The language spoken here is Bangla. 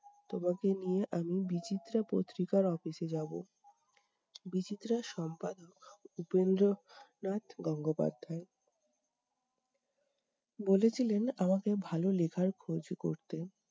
তোমাকে নিয়ে আমি বিচিত্রা পত্রিকার office এ যাবো। বিচিত্রার সম্পাদক উপেন্দ্রনাথ গঙ্গোপাধ্যায়, বলেছিলেন আমাকে ভালো লেখার খোঁজ করতে।